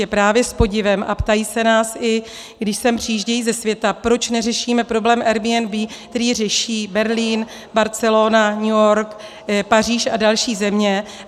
Je právě s podivem a ptají se nás, i když sem přijíždějí ze světa, proč neřešíme problém Airbnb, který řeší Berlín, Barcelona, New York, Paříž a další země.